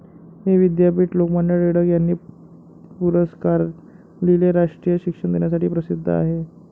हे विद्यापीठ लोकमान्य टिळक यांनी पुरस्कारिलेले राष्ट्रीय शिक्षण देण्यासाठी प्रसिद्ध आहे.